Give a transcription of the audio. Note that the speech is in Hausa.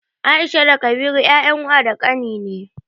Aisha da Kabiru 'ya'yan wa da ƙani ne.